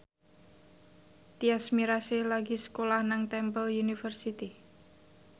Tyas Mirasih lagi sekolah nang Temple University